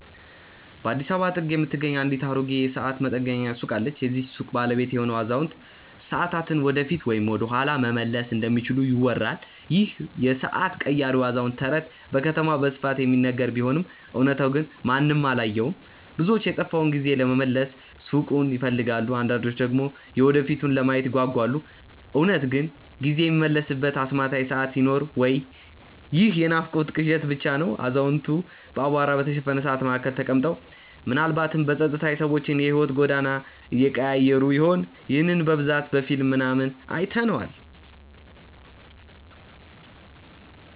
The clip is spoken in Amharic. በአዲስ አበባ ጥግ የምትገኝ አንዲት አሮጌ የሰዓት መጠገኛ ሱቅ አለች። የዚህች ሱቅ ባለቤት የሆነው አዛውንት፣ ሰዓታትን ወደፊት ወይም ወደኋላ መመለስ እንደሚችሉ ይወራል ይህ የሰዓት ቀያሪው አዛውንት ተረት በከተማዋ በስፋት የሚነገር ቢሆንም እውነታው ግን ማንም አላየውም። ብዙዎች የጠፋውን ጊዜ ለመመለስ ሱቁን ይፈልጋሉ አንዳንዶች ደግሞ የወደፊቱን ለማየት ይጓጓሉ። እውነት ግን ጊዜ የሚመለስበት አስማታዊ ሰዓት ይኖር ወይ ይህ የናፍቆትና ቅዠት ብቻ ነው አዛውንቱ በአቧራ በተሸፈኑ ሰዓታት መካከል ተቀምጠው፣ ምናልባትም በጸጥታ የሰዎችን የሕይወት ጎዳና እየቀያየሩ ይሆን? ይህንን በብዛት በፊልም ምናምን አይተነዋል